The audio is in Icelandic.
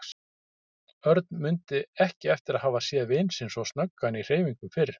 Örn mundi ekki eftir að hafa séð vin sinn svo snöggan í hreyfingum fyrr.